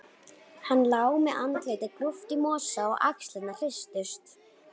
Hann lá með andlitið grúft í mosa og axlirnar hristust.